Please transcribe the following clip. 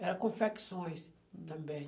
Era confecções também.